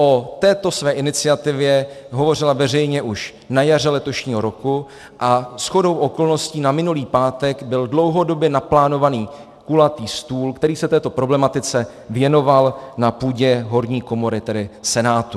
O této své iniciativě hovořila veřejně už na jaře letošního roku a shodou okolností na minulý pátek byl dlouhodobě naplánovaný kulatý stůl, který se této problematice věnoval na půdě horní komory, tedy Senátu.